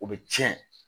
O bɛ tiɲɛ